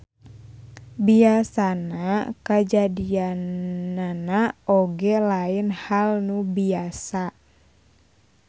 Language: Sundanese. Biasana kajadianana oge lain hal nu biasa.